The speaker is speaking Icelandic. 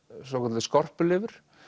svokölluð skorpulifur